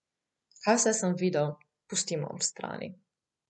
Kaj vse sem videl, pustimo ob strani.